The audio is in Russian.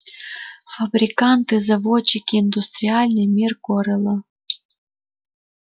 фабриканты заводчики индустриальный мир корела